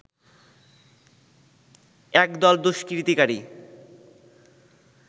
একদল দুষ্কৃতিকারী